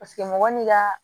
Paseke mɔgɔ n'i ka